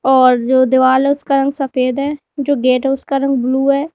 और जो दिवाल है उसका रंग सफेद है जो गेट है उसका रंग ब्लू है।